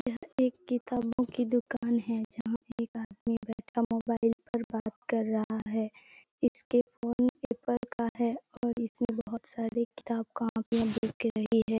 यह एक किताबों की दूकान है जहाँ पे एक आदमी बैठा हुआ है मोबाइल पर बात कर रहा है इसके फोन एप्पल का है और इसमें बहुत सारे किताब कॉपीयां दिख रही है।